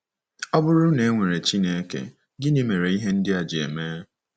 Ọ bụrụ na e nwere Chineke, gịnị mere ihe ndị a ji eme?